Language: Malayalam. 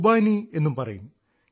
ഖുബാനി എന്നും പറയും